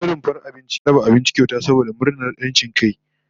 Wani rumfar abinci ya raba abinci kyauta saboda murnar ranar 'yancin kai